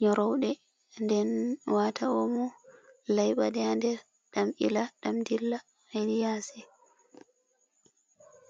nyoroude den wata omo laiba ɗe ha nder ɗam ila ɗam dilla hedi yasi.